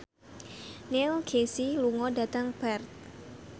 Neil Casey lunga dhateng Perth